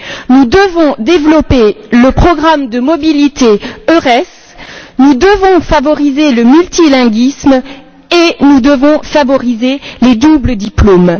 Nous devons développer le programme de mobilité EURES, nous devons favoriser le multilinguisme et nous devons favoriser les doubles diplômes.